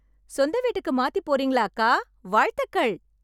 சொந்த வீட்டுக்கு மாத்திப் போறீங்களா அக்கா? வாழ்த்துக்கள்.